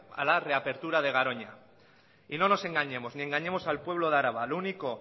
a la reapertura de garoña y no nos engañemos ni engañemos al pueblo de araba lo único